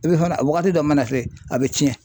I bɛ fana wagati dɔ mana se a bɛ tiɲɛ.